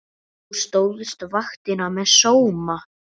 Þú stóðst vaktina með sóma.